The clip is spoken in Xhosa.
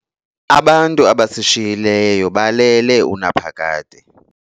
Abantu abasishiyileyo balele unaphakade.